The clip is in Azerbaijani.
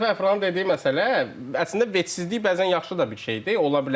Məsələn keçən dəfə Əfrahın dediyi məsələ, əslində vecsizlik bəzən yaxşı da bir şeydir, ola bilər.